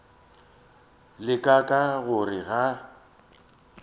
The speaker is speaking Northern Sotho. la ka ka gore ga